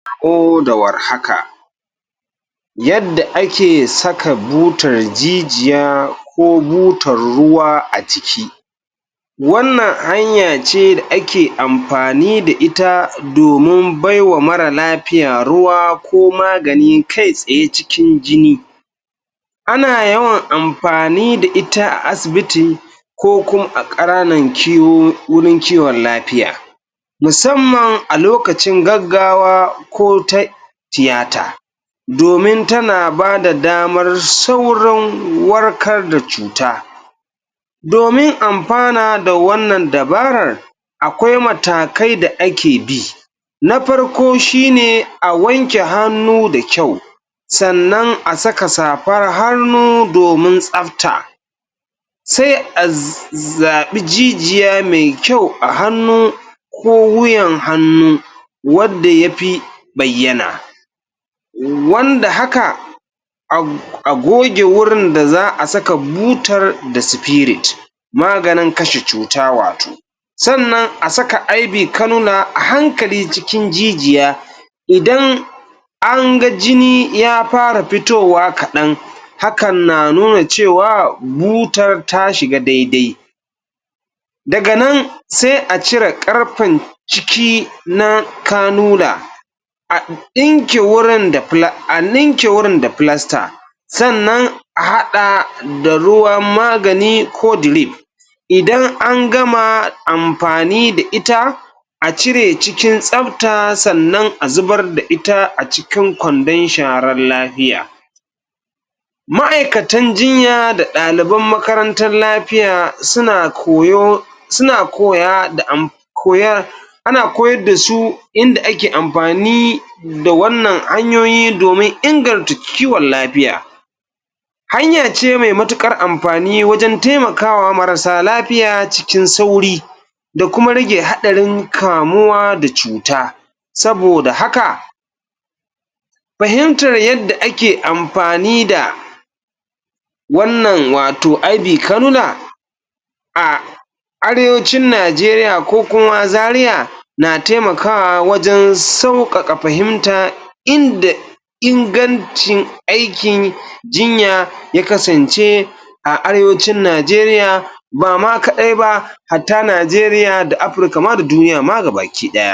da warhaka yadda ake saka butar jijjiya ko butar ruwa a jiki wannan hanya ce da ake ampani da ita domin bai wa mara lapiya ruwa ko magani kai tsaye cikin jini\ ana yawan ampani da ita a asibiti ko kuma a a wirin kiwon lapiya musamman a lokacin gaggawa ko tiyata domin tana ba da damar saurin warkar da cuta domin ampana da wannan dabarar akwai matakai da ake bi na parko shine a wanke hannu da kyau sannan a saka sapar harmu domin tsapta sai a zaɓi jijiya mai kyau a hannu ko wuyan hannu wadda ya pi bayyana wanda haka a goge wurin da za a saka butar da maganin kashe cuta wato sannan a saka a hankali cikin jijiya idan an ga jini ya para pitowa kaɗan hakan na nuna cewa butar ta shiga daidai daga nan sai a cire ƙarpen ciki na a ɗinke wurin da a linke wurin da sannan a haɗa da ruwan magani ko idan an gama ampani da ita a cire cikin tsapta sannan a zubar da ita a cikin kwandon sharan lahiya ma'aikatan jinya da ɗaliban makarantan lapiya suna koyo suna koya da koya ana koyar da su inda ake ampani da wannan hanyoyi domin ingarta ciwon lapiya hanyar ce me matuƙar ampani wajen temakawa marasa lapiya cikin sauri da kuma rage haɗarin kamuwa da cuta saboda haka pahimtar yadda ake ampani da wannan wato a Arewacin Najeriya ko kuma Zaria na temakawa wajen sauƙaƙa pahimta inda ingancin aikin jinya ya kasance a Arewacin Najeriya ba ma kaɗai ba hatta Najeriya da Apurka ma da duniya ma gabaki ɗaya.